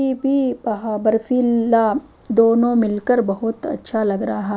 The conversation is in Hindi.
दोनों मिलकर बहोत अच्छा लग रहा--